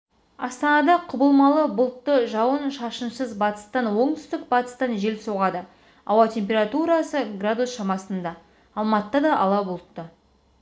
астанада құбылмалы бұлтты жауын-шашынсыз батыстан оңтүстік-батыстан жел соғады ауа температурасы градус шамасында алматыда да ала бұлтты